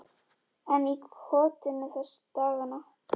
Einn í kotinu þessa dagana.